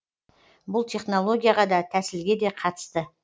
бұл технологияға да тәсілге де қатысты